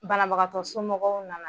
Banabagatɔ somɔgɔw nana.